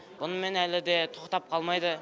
бұнымен әлі де тоқтап қалмайды